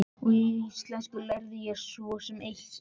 Og í íslenskunni lærði ég svo sem sitthvað.